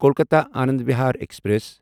Kolkata Anand Vihar express